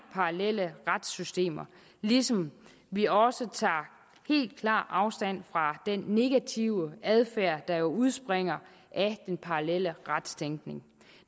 parallelle retssystemer ligesom vi også tager klar afstand fra den negative adfærd der jo udspringer af den parallelle retstænkning